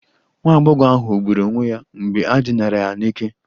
Nwa agbọghọ ahụ gburu onwe ya mgbe e dinara ya n'ike